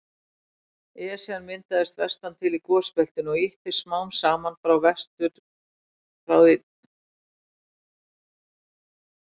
Esjan myndaðist vestan til í gosbeltinu og ýttist smám saman frá því til vesturs.